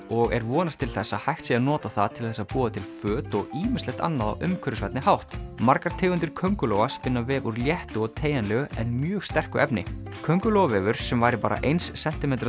og er vonast til þess að hægt sé að nota það til þess að búa til föt og ýmislegt annað á umhverfisvænni hátt margar tegundir köngulóa spinna vef úr léttu og teygjanlegu en mjög sterku efni kóngulóarvefur sem væri bara eins sentímetra